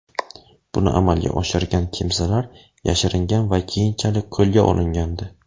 Buni amalga oshirgan kimsalar yashiringan va keyinchalik qo‘lga olingandi.